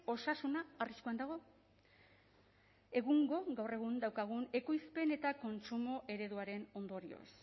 osasuna arriskuan dago egungo gaur egun daukagun ekoizpen eta kontsumo ereduaren ondorioz